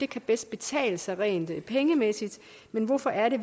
kan betale sig rent pengemæssigt men hvorfor er det